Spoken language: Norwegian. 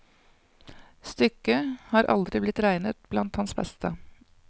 Stykket har aldri blitt regnet blant hans beste.